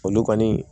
Olu kɔni